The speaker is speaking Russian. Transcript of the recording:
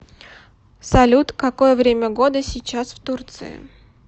салют какое время года сейчас в турции